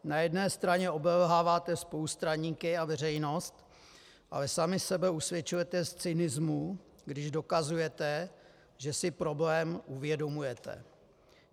Na jedné straně obelháváte spolustraníky a veřejnost, ale sami sebe usvědčujete z cynismu, když dokazujete, že si problém uvědomujete.